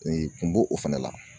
kun b'o o fana la.